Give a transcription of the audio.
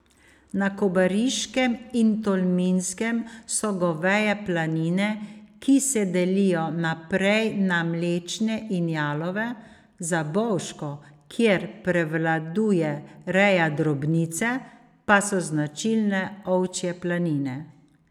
Na Kobariškem in Tolminskem so goveje planine, ki se delijo naprej na mlečne in jalove, za Bovško, kjer prevladuje reja drobnice, pa so značilne ovčje planine.